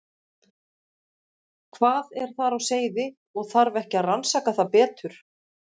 Hvað er þar á seyði og þarf ekki að rannsaka það betur?